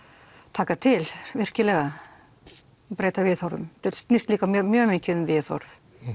taka til virkilega breyta viðhorfum þetta snýst líka mjög mjög mikið um viðhorf